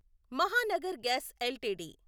Mahanagar gas LTD